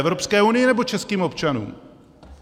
Evropské unii, nebo českým občanům?